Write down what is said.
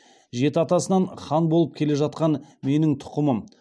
жеті атасынан хан болып келе жатқан менің тұқымым